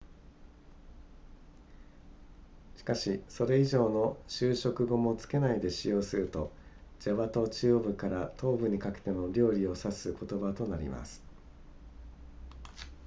しかしそれ以上の修飾語も付けないで使用するとジャワ島中央部から東部にかけての料理を指す言葉となります